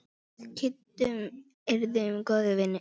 Við Kiddi urðum góðir vinir.